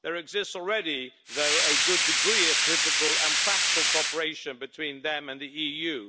There exists already, though, a good degree of political and practical cooperation between them and the EU.